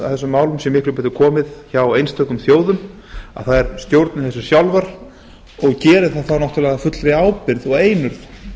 þessum málum sé miklu betur komið hjá einstökum þjóðum að þær stjórni þessu sjálfar og geri það þá náttúrlega af fullri ábyrgð og einurð